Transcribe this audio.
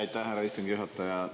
Aitäh, härra istungi juhataja!